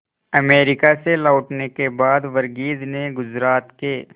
America से लौटने के बाद वर्गीज ने गुजरात के